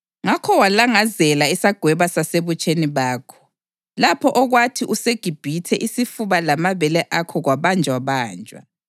Ngakho walangazela isagweba sasebutsheni bakho, lapho okwathi useGibhithe isifuba lamabele akho kwabanjwabanjwa.